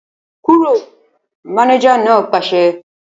Kúrò! Mánéjà náà pàṣẹ